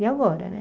E agora, né?